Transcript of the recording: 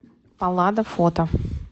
паллада фото